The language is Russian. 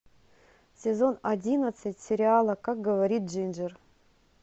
сезон одиннадцать сериала как говорит джинджер